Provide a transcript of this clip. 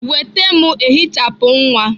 Nweta m ehichapụ nwa!